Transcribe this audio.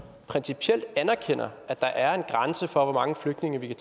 principielt anerkender at der er en grænse for hvor mange flygtninge vi